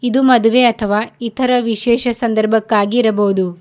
ಇದು ಮದುವೆ ಅಥವಾ ಇತರ ವಿಶೇಷ ಸಂದರ್ಭಕ್ಕಾಗಿ ಇರಬಹುದು.